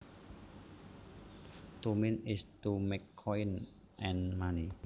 To mint is to make coins and money